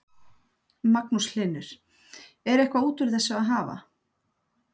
Magnús Hlynur: Er eitthvað út úr þessu að hafa?